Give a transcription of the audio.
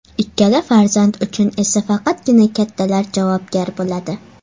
Ikkala farzand uchun esa faqatgina kattalar javobgar bo‘ladi.